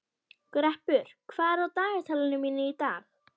Greppur, hvað er á dagatalinu mínu í dag?